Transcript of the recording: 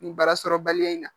Nin baara sɔrɔbaliya in na